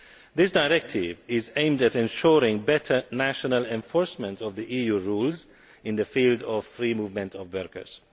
This directive is aimed at ensuring better national enforcement of the EU rules in the field of free movement of workers.